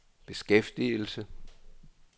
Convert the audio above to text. beskæftigelse